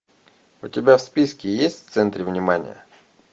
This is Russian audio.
у тебя в списке есть в центре внимания